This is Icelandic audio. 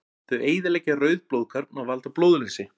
Þau eyðileggja rauð blóðkorn og valda blóðleysi.